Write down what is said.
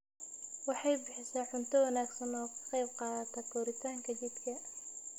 Waxay bixisaa cunto wanaagsan oo ka qayb qaadata koritaanka jidhka.